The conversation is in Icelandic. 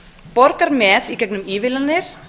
borgar með í gegnum ívilnanir